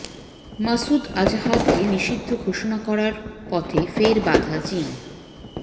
মাসুদ আজহারকে নিষিদ্ধ ঘোষণা করার পথে ফের বাধা চিন